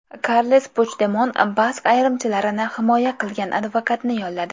Karles Puchdemon bask ayirmachilarini himoya qilgan advokatni yolladi.